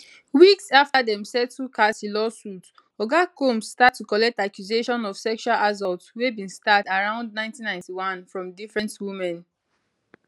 weeks afta dem settle cassie lawsuit oga combs start to collect accusation of sexual assault wey bin start around 1991 from different women